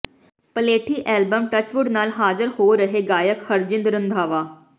ਪਲੇਠੀ album Touchwood ਨਾਲ ਹਾਜ਼ਰ ਹੋ ਰਿਹੈ ਗਾਇਕ ਹਰਜਿੰਦ ਰੰਧਾਵਾ